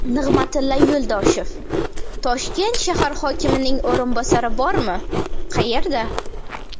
Nig‘matilla Yo‘ldoshev: Toshkent shahar hokimining o‘rinbosari bormi, qayerda?